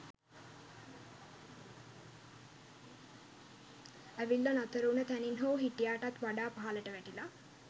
ඇවිල්ලා නතර උන තැනින් හෝ හිටියාටත් වඩා පහලට වැටිලා